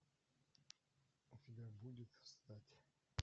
у тебя будет встать